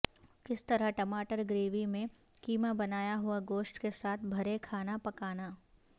کس طرح ٹماٹر گریوی میں کیما بنایا ہوا گوشت کے ساتھ بھرے کھانا پکانا